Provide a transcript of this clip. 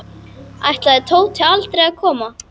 Ætlaði Tóti aldrei að koma?